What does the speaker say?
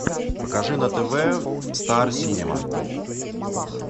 покажи на тв стар синема